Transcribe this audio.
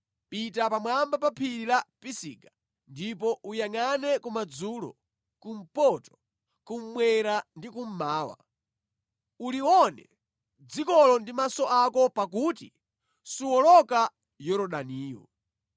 Pita pamwamba pa phiri la Pisiga ndipo uyangʼane kumadzulo, kumpoto, kummwera ndi kummawa. Ulione dzikolo ndi maso ako pakuti suwoloka Yorodaniyu.